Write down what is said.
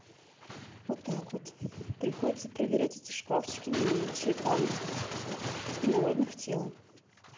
вот так вот приходится проверять эти шкафчики на наличие там инородных тел